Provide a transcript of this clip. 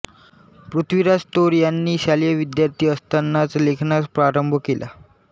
पृथ्वीराज तौर यांनी शालेय विद्यार्थी असतानाच लेखनास प्रारंभ केला